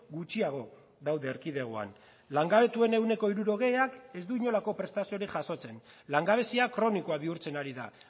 gutxiago daude erkidegoan langabetuen ehuneko hirurogeiak ez du inolako prestaziorik jasotzen langabezia kronikoa bihurtzen ari da